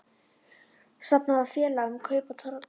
Stofnað var félag um kaup á togaranum